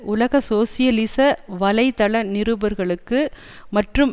உலக சோசியலிச வலைத்தள நிருபர்களுக்கு மற்றும்